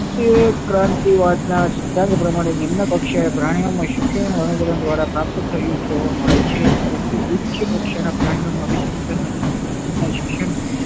ક્રાંતિવાદ ના સિદ્ધાંત પ્રમાણે નિમ્ન પક્ષે પ્રાણિયો માં શિક્ષણ અનુકરણ દ્વારા પ્રાપ્ત થયું જોવા મળે છે પરંતુ ઉચ્ચ કક્ષા ના પ્રાણિયો માં અભિસંધાન ના શિક્ષણ